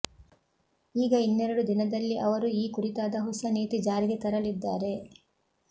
ಈಗ ಇನ್ನೆರಡು ದಿನದಲ್ಲಿ ಅವರು ಈ ಕುರಿತಾದ ಹೊಸ ನೀತಿ ಜಾರಿಗೆ ತರಲಿದ್ದಾರೆ